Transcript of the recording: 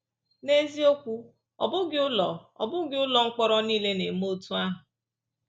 N’eziokwu, ọ bụghị ụlọ ọ bụghị ụlọ mkpọrọ nile na-eme otú ahụ.